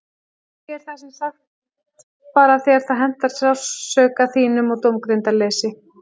Ég er það sem sagt bara þegar það hentar sársauka þínum og dómgreindarleysi.